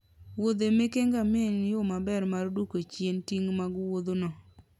muodhe meke ngamia en yo maber mar duoko chien ting' mag Wuothno.